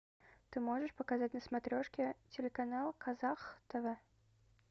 ты можешь показать на смотрешке телеканал казах тв